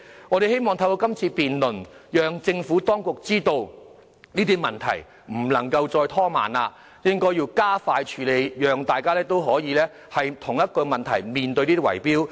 我們希望透過這項議案辯論，讓政府當局知道這些問題不能再拖延，必須加快處理，讓大家可以避免面對圍標的問題。